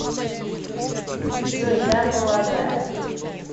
джой да полагаю